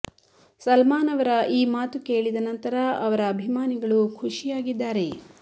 ಸಲ್ಮಾನ್ ಅವರ ಈ ಮಾತು ಕೇಳಿದ ನಂತರ ಅವರ ಅಭಿಮಾನಿಗಳು ಖುಷಿಯಾಗಿದ್ದಾರೆ